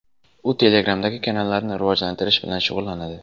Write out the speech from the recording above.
U Telegram’dagi kanallarni rivojlantirish bilan shug‘ullanadi.